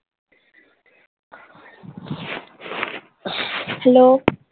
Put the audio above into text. hello ।